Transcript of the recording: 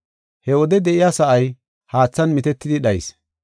He wode de7iya sa7ay haathan mitetidi dhayis.